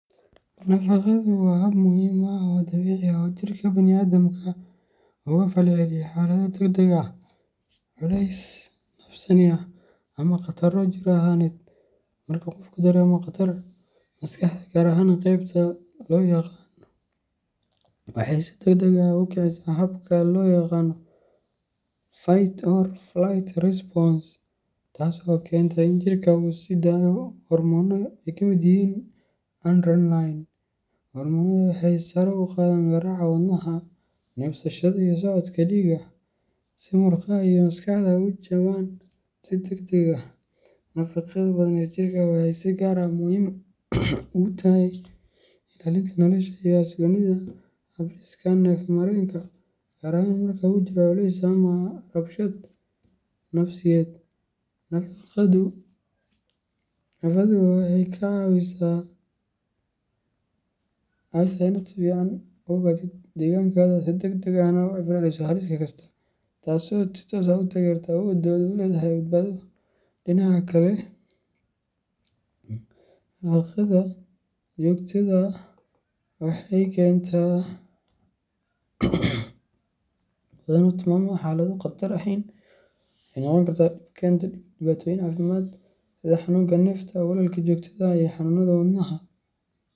Nafaqadu waa hab muhiim ah oo dabiici ah oo uu jirka bani’aadamku uga falceliyo xaalado degdeg ah, culays nafsaani ah, ama khataro jir ahaaneed. Marka qofku dareemo khatar, maskaxda gaar ahaan qeybta loo yaqaan waxay si degdeg ah u kicisaa habka loo yaqaan fight or flight response, taas oo keenta in jirka uu sii daayo hormoonno ay ka mid yihiin adrenaline . Hormoonada waxay sare u qaadaan garaaca wadnaha, neefsashada, iyo socodka dhiigga si murqaha iyo maskaxdu uga jawaabaan si degdeg ah. Nafada badan ee jirka waxay si gaar ah muhiim ugu tahay ilaalinta nolosha iyo xasilloonida habdhiska neefmareenka, gaar ahaan marka uu jiro culays ama rabshad nafsiyeed. Nafaqadu waxay kaa caawisaa inaad si fiican u ogaatid deegaankaaga, si degdeg ahna uga falceliso halis kasta, taasoo si toos ah u taageerta awoodda aad u leedahay badbaado. Dhinaca kale, nafaqda joogtada ah ee badan ama ku timaadda xaalado aan khatar ahayn waxay noqon kartaa dhib keenta dhibaatooyin caafimaad sida xanuunka neefta, walwalka joogtada ah, iyo xanuunada wadnaha.